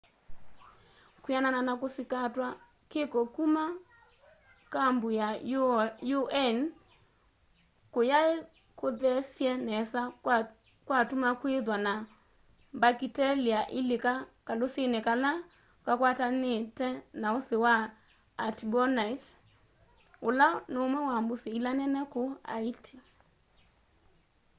kwianana na kusikatwa kiko kuma kambu ya un kuyaikuthesye nesa kwatuma kwithwa na mbakitelia ilika kalusini kala kakwatanite na usi wa artibonite ula numwe wa mbusi ila nene kuu haiti